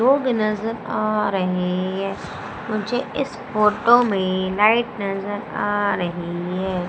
लोग नजर आ रही है मुझे इस फोटो में लाइट नजर आ रही है।